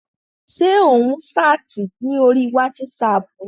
Ṣé ò ń ṣáàtì ní orí wátísapù ni?